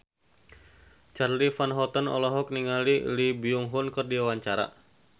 Charly Van Houten olohok ningali Lee Byung Hun keur diwawancara